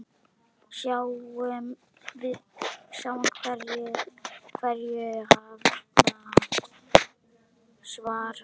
Sjáum hverju hann svarar.